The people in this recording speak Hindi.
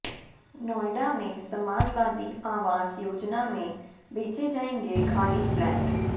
नोएडा में समाजवादी आवास योजना में बेचे जाएंगे खाली फ्लैट